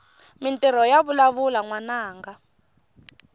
mintirho yavalavula nwananga